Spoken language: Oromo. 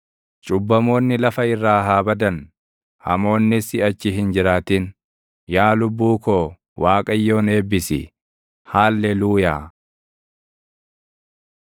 Cubbamoonni lafa irraa haa badan; hamoonnis siʼachi hin jiraatin. Yaa lubbuu koo Waaqayyoon eebbisi. Haalleluuyaa.